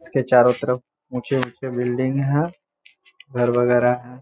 इसके चारो तरफ ऊँचे-ऊँचे बिल्डिंग हैं घर बगेरा हैं।